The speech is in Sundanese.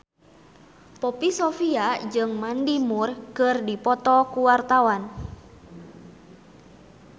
Poppy Sovia jeung Mandy Moore keur dipoto ku wartawan